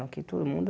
Aqui todo mundo...